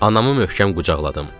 Anamı möhkəm qucaqladım.